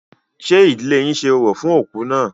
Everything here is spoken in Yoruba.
Ṣé ìdílé yín ṣe orò fún òkú náà?